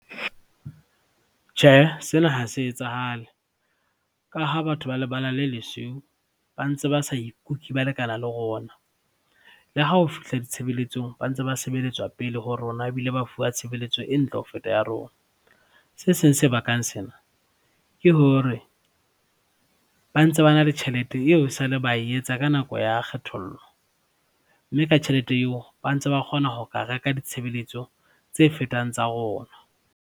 Tjhehe, sena ha se etsahale ka ha batho ba lebala le lesweu ba ntse ba sa ikuke ba lekana le rona. Le ha o fihla ditshebelletsong ba ntse ba sebelletswa pele ho rona ebile ba fuwa tshebelletso e ntle ho feta ya rona. Se seng se bakang sena ke hore ba ntse ba na le tjhelete eo e sale ba e etsa ka nako ya kgethollo mme ka tjhelete eo ba ntse ba kgona ho ka reka ditshebelletso tse fetang tsa rona.